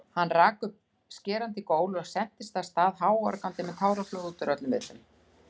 Hún rak upp skerandi gól og sentist af stað háorgandi með táraflóð útúr öllum vitum.